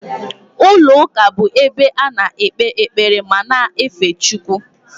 Ụlọ ụka bụ ebe a na-ekpe ekpere ma na-efe Chukwu